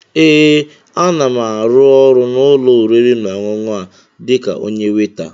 Ee, a na m árụ́ ọrụ n'ụ́lọ̀ oriri nà ọṅụṅụ a dịka onyé weita